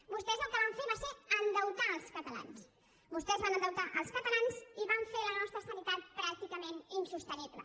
vostès el que van fer va ser endeutar els catalans vostès van endeutar els catalans i van fer la nostra sanitat pràcticament insostenible